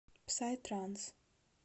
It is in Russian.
псай транс